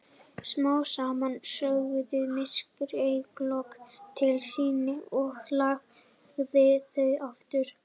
Smám saman sogaði myrkrið augnlokin til sín og lagði þau aftur.